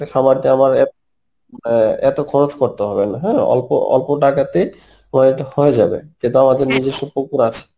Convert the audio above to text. একটা খামার দিয়ে আমার অ্যাঁ এতো খরচ করতে হবেনা হ্যাঁ, অল্প অল্প টাকাতেই তোমার হয়তো হয়ে যাবে যেহেতু আমাদের নিজস্ব পুকুর আছে